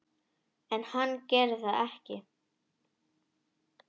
En hann gerir það ekki.